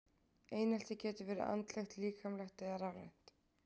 Einelti getur verið andlegt, líkamlegt eða rafrænt.